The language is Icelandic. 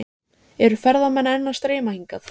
Kristján Már: Eru ferðamenn enn að streyma hingað?